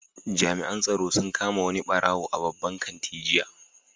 Jami'an tsaro sun kama wani barawo a babban kanti jiya.